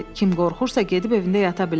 Kim qorxursa, gedib evində yata bilər.